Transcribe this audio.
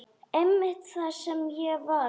Einmitt það sem ég varð.